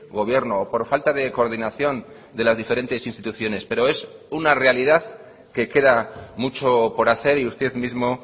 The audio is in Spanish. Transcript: gobierno o por falta de coordinación de las diferentes instituciones pero es una realidad que queda mucho por hacer y usted mismo